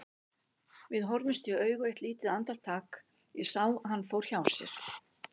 Við horfðumst í augu eitt lítið andartak, ég sá að hann fór hjá sér.